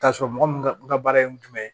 K'a sɔrɔ mɔgɔ min ka baara ye jumɛn ye